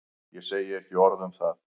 Ég segi ekki orð um það.